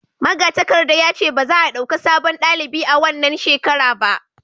magatakarda ya ce ba za a dauka sabon dalibi a wannan shekara ba